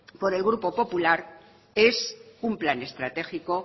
por el grupo popular es un plan estratégico